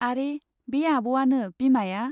आरो बे आब'वानो बिमाया।